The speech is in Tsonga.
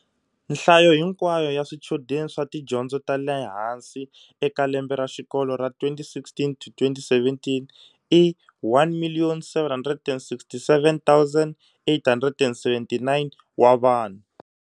Nhlayo hinkwayo ya swichudeni swa tidyondzo ta le hansi eka lembe ra xikolo ra 2016 to 2017 i 1,767,879 wa vanhu.